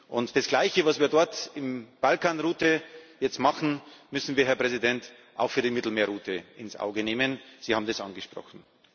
Und das Gleiche, was wir dort bei der Balkanroute jetzt machen, müssen wir, Herr Präsident, auch für die Mittelmeerroute ins Auge fassen Sie haben es angesprochen.